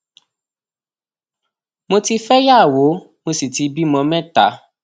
mo ti fẹyàwó mo sì ti bímọ mẹta